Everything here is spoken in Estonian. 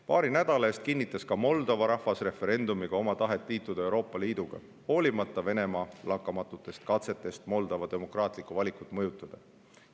Paari nädala eest kinnitas ka Moldova rahvas referendumiga oma tahet liituda Euroopa Liiduga, hoolimata Venemaa lakkamatutest katsetest Moldova demokraatlikku valikut mõjutada.